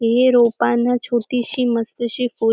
हे रोपान छोटीशी मस्त शी फुल --